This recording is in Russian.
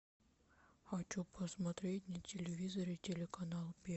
хочу посмотреть на телевизоре телеканал